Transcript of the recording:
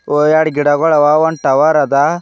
ಓ ಎಡ್ ಗಿಡಗಳವಒಂದ್ ಟವರ್ ಅದ.